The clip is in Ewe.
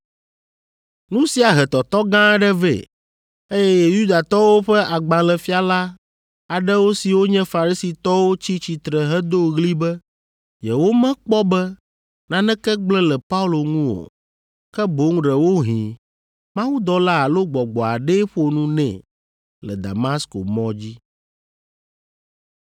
Nu sia he tɔtɔ gã aɖe vɛ, eye Yudatɔwo ƒe agbalẽfiala aɖewo siwo nye Farisitɔwo tsi tsitre hedo ɣli be yewomekpɔ be naneke gblẽ le Paulo ŋu o, ke boŋ ɖewohĩ mawudɔla alo gbɔgbɔ aɖee ƒo nu nɛ le Damasko mɔ dzi.